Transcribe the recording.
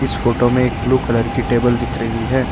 इस फोटो में एक ब्लू कलर की टेबल दिख रही है।